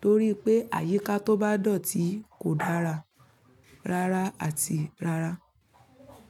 torí pé àyíká tó bá dọ̀tí kò dára rárá àti rárá.